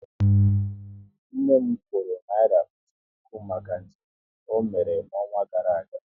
Nne m kwuru naira otu puku maka njem ọ mere n'ọnwa gara aga